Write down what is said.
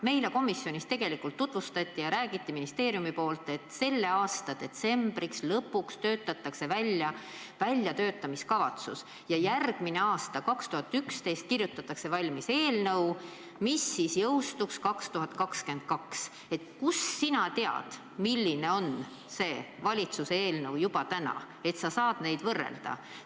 Ministeeriumi esindaja rääkis meile komisjonis, et selle aasta detsembriks alles koostatakse väljatöötamiskavatsus ja järgmisel aastal ehk 2021. aastal kirjutatakse valmis eelnõu, mis jõustuks seadusena 2022. Kust sina tead juba täna, milline on see valitsuse eelnõu, et sa saad neid võrrelda?